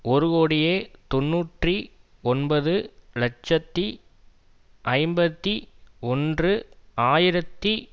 ஒரு கோடியே தொன்னூற்றி ஒன்பது இலட்சத்தி ஐம்பத்தி ஒன்று ஆயிரத்தி